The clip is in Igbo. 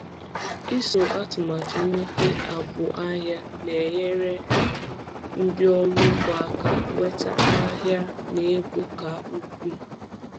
Iso atụmatụ mmepe agbụ ahịa na-enyere ndị ọrụ ugbo aka nweta ahịa na ego ka ukwuu.